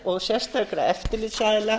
og sérstakra eftirlitsaðila